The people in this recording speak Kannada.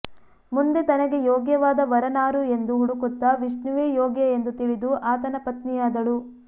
ಮುಂದೆ ತನಗೆ ಯೋಗ್ಯವಾದ ವರನಾರು ಎಂದು ಹುಡುಕುತ್ತ ವಿಷ್ಣುವೇ ಯೋಗ್ಯ ಎಂದು ತಿಳಿದು ಆತನ ಪತ್ನಿಯಾದಳು